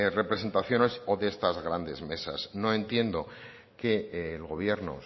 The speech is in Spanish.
representaciones o de estas grandes mesas no entiendo que el gobierno